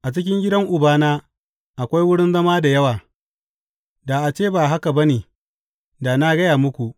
A cikin gidan Ubana akwai wurin zama da yawa; da a ce ba haka ba ne, da na gaya muku.